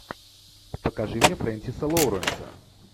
покажи мне френсиса лоуренса